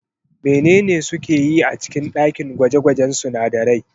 Menene suke yi a cikin ɗakin gwaje-gwajen sunadarai?